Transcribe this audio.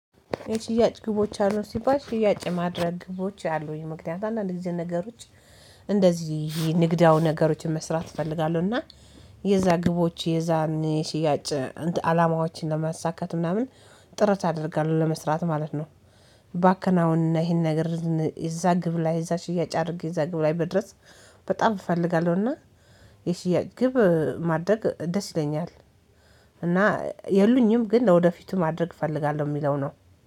የሽያጭ ግቦች አሉ ሲባል ሽያጭ የማድረግ ግቦች አሉኝ ምክንያቱም አንዳንድ ጊዜ ነገሮች እንደዚህ ይሄ ንግዳዊ ነገሮችን መስራት እፈልጋለሁ እና የዛ ግቦች የዛን ሽያጭ አላማዎችን ለማሳካት ምናምን ጥረት አደርጋለሁ ለመስራት ማለት ነው። ባከናውን ይሄን ነገር ይዛ ግብ ላይ እዛ ሽያጭ አድርጌ እዛ ግብ ላይ መድረስ በጣም እፈልጋለሁና የሽያጭ ግብ ማድረግ ደስ ይለኛል። እና የሉኝም ግን ለወደፊቱ ማድረግ እፈልጋለሁ የሚለው ነው